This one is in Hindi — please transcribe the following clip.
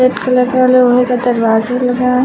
कलरदार लोहे का दरवाजा लगा है।